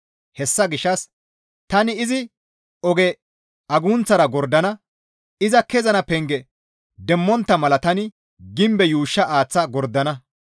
Hessa gishshas tani izi oge agunththara gordana; iza kezana penge demmontta mala tani gimbe yuushsha aaththa gordana.